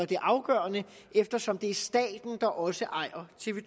det afgørende eftersom det er staten der også ejer tv